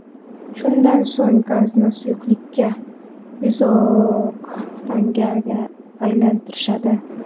Shundan so‘ng gazni suyuqlikka – izooktanga aylantirishadi.